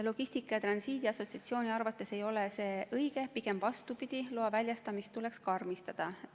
Logistika ja Transiidi Assotsiatsiooni arvates ei ole see õige, pigem vastupidi, loa väljastamist tuleks karmistada.